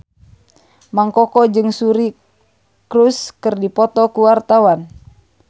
Mang Koko jeung Suri Cruise keur dipoto ku wartawan